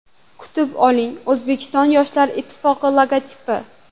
Kutib oling: O‘zbekiston Yoshlar ittifoqi logotipi.